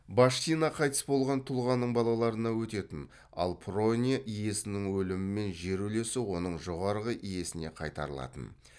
баштина қайтыс болған тұлғаның балаларына өтетін ал прония иесінің өлімімен жер үлесі оның жоғарғы иесіне қайтарылатын